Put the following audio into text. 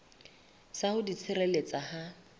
sa ho di tshireletsa ha